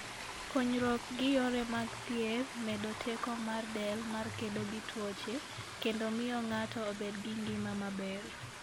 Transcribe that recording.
Konyruok gi Yore mag Thieth medo teko mar del mar kedo gi tuoche, kendo miyo ng'ato obed gi ngima maber.